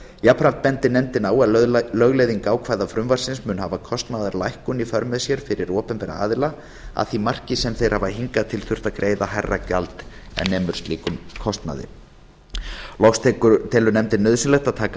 jafnframt bendir nefndin á að lögleiðing ákvæða frumvarpsins mun hafa kostnaðarlækkun í för með sér fyrir opinbera aðila að því marki sem þeir hafa hingað til þurft að greiða hærra gjald en sem nemur slíkum kostnaði loks telur nefndin nauðsynlegt að taka